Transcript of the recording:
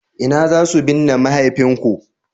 ina za su binne mahaifinku?